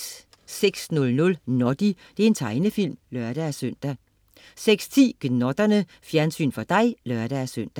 06.00 Noddy. Tegnefilm (lør-søn) 06.10 Gnotterne. Fjernsyn for dig (lør-søn)